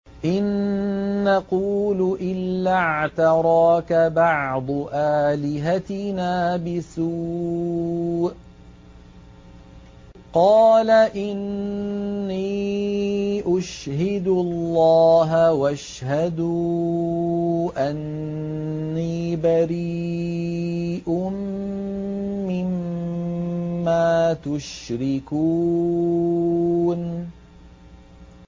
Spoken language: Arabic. إِن نَّقُولُ إِلَّا اعْتَرَاكَ بَعْضُ آلِهَتِنَا بِسُوءٍ ۗ قَالَ إِنِّي أُشْهِدُ اللَّهَ وَاشْهَدُوا أَنِّي بَرِيءٌ مِّمَّا تُشْرِكُونَ